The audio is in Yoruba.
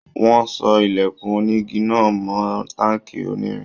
Wọ́n so ilẹ̀kùn onígi náà mọ́ táǹkì onírin.